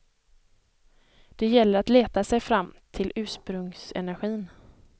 Det gäller att leta sig fram till ursprungsenergin.